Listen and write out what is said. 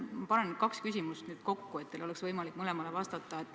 Ma panen nüüd kaks küsimust kokku, et teil oleks võimalik mõlemale vastata.